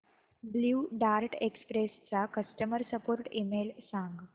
blue Dart Express चा customer support email सांग